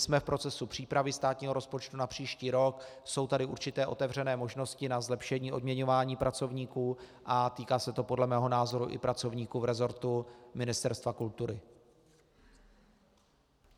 Jsme v procesu přípravy státního rozpočtu na příští rok, jsou tady určité otevřené možnosti na zlepšení odměňování pracovníků a týká se to podle mého názoru i pracovníků v resortu Ministerstva kultury.